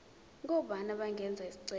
ngobani abangenza isicelo